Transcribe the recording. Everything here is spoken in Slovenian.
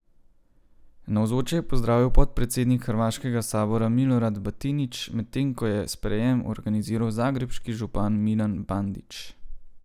Navzoče je pozdravil podpredsednik hrvaškega sabora Milorad Batinić, medtem ko je sprejem organiziral zagrebški župan Milan Bandić.